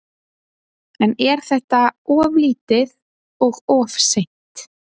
En er þetta of lítið og of seint?